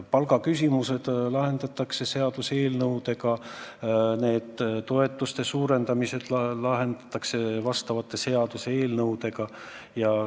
Palgaküsimused lahendatakse seaduseelnõudega, nende toetuste suurendamised lahendatakse seaduseelnõudega.